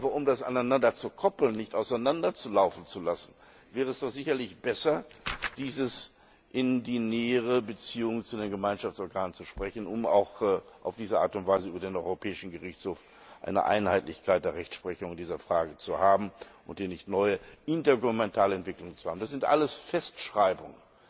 Aber um das aneinander zu koppeln und nicht auseinander laufen zu lassen, wäre es doch sicherlich besser, dies in die nähere Beziehung zu den Gemeinschaftsorganen zu rücken, um auf diese Art und Weise auch über den Europäischen Gerichtshof eine Einheitlichkeit der Rechtsprechung in dieser Frage zu haben und hier nicht neue intergouvermentale Entwicklungen zu erleben. Das sind alles Festschreibungen.